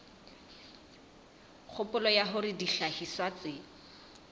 kgopolo ya hore dihlahiswa tse